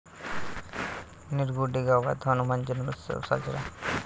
निरगुडे गावात हनुमान जन्मोत्सव साजरा